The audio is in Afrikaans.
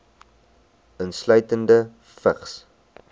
insluitende vigs